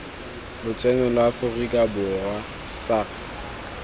lotseno lwa aforika borwa sars